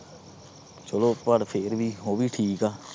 ਚਲੋ ਫਿਰ ਵੀ ਉਹ ਵੀ ਠੀਕ ਆ।